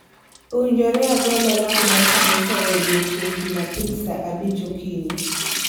Owinjore agol olang' mar kanisa e odiechieng' Jumapil saa abich okinyi